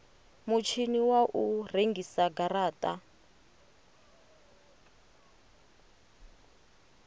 mutshini wa u rengisa garata